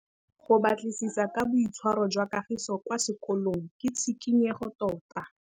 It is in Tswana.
Go batlisisa ka boitshwaro jwa Kagiso kwa sekolong ke tshikinyêgô tota.